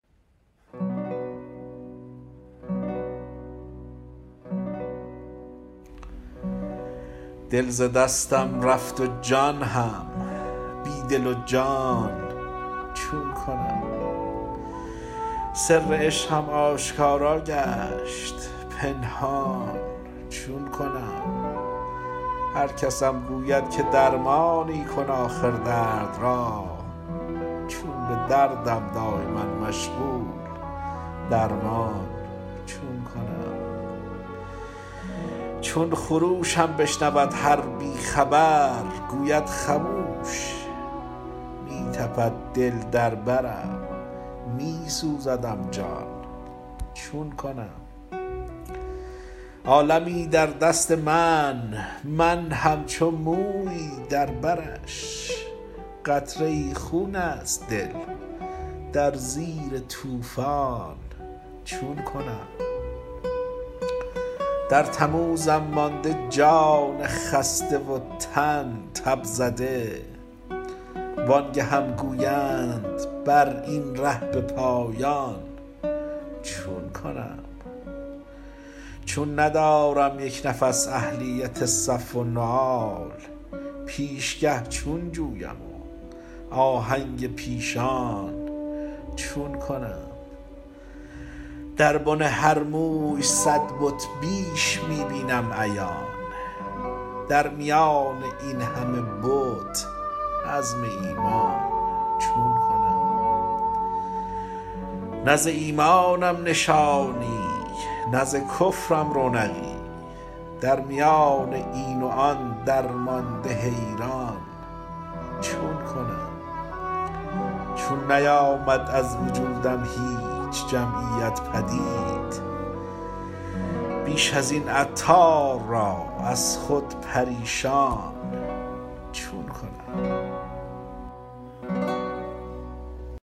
دل ز دستم رفت و جان هم بی دل و جان چون کنم سر عشقم آشکارا گشت پنهان چون کنم هرکسم گوید که درمانی کن آخر درد را چون به دردم دایما مشغول درمان چون کنم چون خروشم بشنود هر بی خبر گوید خموش می تپد دل در برم می سوزدم جان چون کنم عالمی در دست من من همچو مویی در برش قطره ای خون است دل در زیر طوفان چون کنم در تموزم مانده جان خسته و تن تب زده وآنگهم گویند براین ره به پایان چون کنم چون ندارم یک نفس اهلیت صف النعال پیشگه چون جویم و آهنگ پیشان چون کنم در بن هر موی صد بت بیش می بینم عیان در میان این همه بت عزم ایمان چون کنم نه ز ایمانم نشانی نه ز کفرم رونقی در میان این و آن درمانده حیران چون کنم چون نیامد از وجودم هیچ جمعیت پدید بیش ازین عطار را از خود پریشان چون کنم